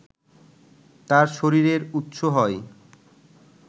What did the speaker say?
তার শরীরের উৎসব হয়